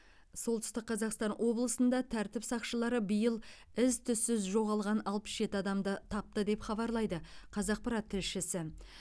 солтүстік қазақстан облысында тәртіп сақшылары биыл із түзсіз жоғалған алпыс жеті адамды тапты деп хабарлайды қазақпарат тілшісі